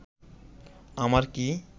আমার কি